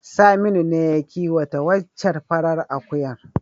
Saminu ne ya kiwata wannan farar akuyar.